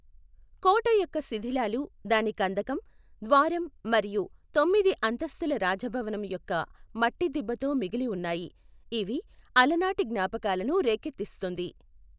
కోట యొక్క శిధిలాలు దాని కందకం, ద్వారం మరియు తొమ్మిది అంతస్తుల రాజభవనం యొక్క మట్టి దిబ్బతో మిగిలి ఉన్నాయి, ఇవి అలనాటి జ్ఞాపకాలను రేకెత్తిస్తుంది.